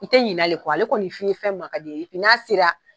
I tɛ ɲinalen kɔ ale kɔni fini fɛn mankadi n'a sera